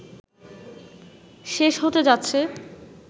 শেষ হতে যাচ্ছে